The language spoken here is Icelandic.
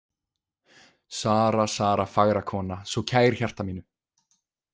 Sara, Sara, fagra kona, svo kær hjarta mínu.